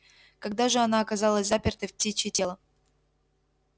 когда же она оказалась запертой в птичье тело